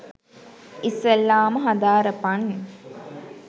ඉස්සෙල්ලාම හදාරපං